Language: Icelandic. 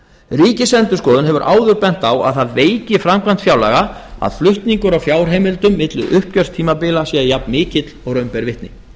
ríkisendurskoðun hefur áður bent á að það veiki framkvæmd fjárlaga að flutningur á fjárheimildum milli uppgjörstímabila sé jafnmikill og raun ber vitni